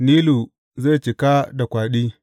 Nilu zai cika da kwaɗi.